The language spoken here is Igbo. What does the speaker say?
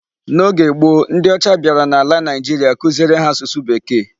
N'oge gboo, ndị ọcha bịara n'ala Naigeria kuziere ha asụsụ Bekee.